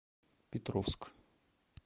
петровск